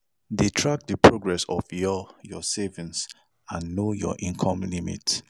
De track the progress of your your savings and know your income limit